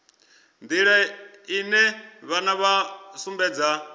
nḓila ine vhana vha sumbedza